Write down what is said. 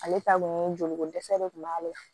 Ale ta kun joliko dɛsɛ de tun b'ale la